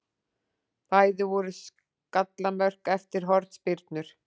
Bæði voru skallamörk eftir hornspyrnur.